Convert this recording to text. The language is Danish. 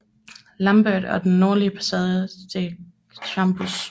Lambert og den nordlige passage til Chambois